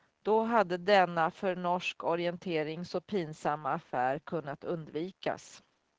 Då hade denna för norsk orientering så pinsamma affär kunnat undvikas.